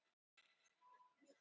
vöðvafrumur